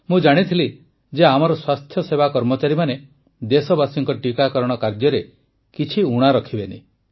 ମୁଁ ଜାଣିଥିଲି ଯେ ଆମର ସ୍ୱାସ୍ଥ୍ୟସେବା କର୍ମଚାରୀମାନେ ଦେଶବାସୀଙ୍କ ଟୀକାକରଣ କାର୍ଯ୍ୟରେ କିଛି ଊଣା ରଖିବେନି